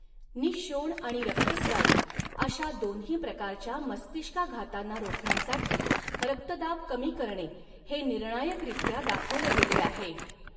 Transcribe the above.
निःशोण आणि रक्तस्रावी अशा दोन्ही प्रकारच्या मस्तिष्काघातांना रोखण्यासाठी रक्तदाब कमी करणे हे निर्णायकरीत्या दाखवले गेले आहे.